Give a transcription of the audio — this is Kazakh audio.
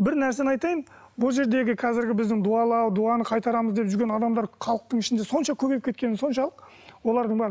бір нәрсені айтайын бұл жердегі қазіргі біздің дуалау дуаны қайтарамыз деп жүрген адамдар халықтың ішінде сонша көбейіп кеткені соншалық олардың бәрі